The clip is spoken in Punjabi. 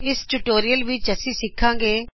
ਇਸ ਟਯੂਟੋਰਿਅਲ ਵਿਚ ਅਸੀਂ ਸਿਖਾਂਗੇ